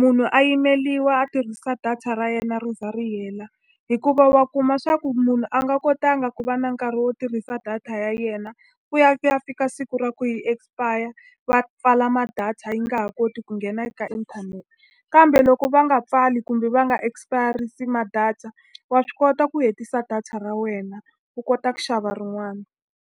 Munhu a yimeriwa a tirhisa data ra yena ri za ri hela. Hikuva wa kuma leswaku munhu a nga kotanga ku va na nkarhi wo tirhisa data ya yena, ku ya ku ya fika a siku ra ku yi expire, va pfala ma-data yi nga ha koti ku nghena eka inthanete. Kambe loko va nga pfali kumbe va nga expire-risi ma-data, wa swi kota ku hetisa data ra wena, u kota ku xava rin'wana.